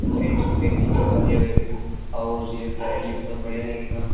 Denting painting के बाद यह हाउस यह फ्लैट ये बहोत बढ़िया लगेगा।